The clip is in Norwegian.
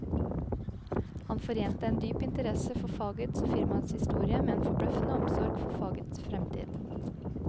Han forente en dyp interesse for fagets og firmaets historie med en forbløffende omsorg for fagets fremtid.